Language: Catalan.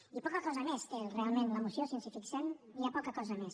i poca cosa més té realment la moció si ens hi fixem hi ha poca cosa més